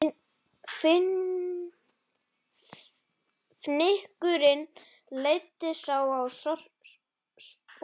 Fnykurinn leiddi þá á sporið